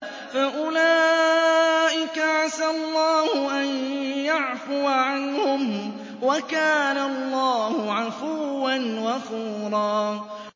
فَأُولَٰئِكَ عَسَى اللَّهُ أَن يَعْفُوَ عَنْهُمْ ۚ وَكَانَ اللَّهُ عَفُوًّا غَفُورًا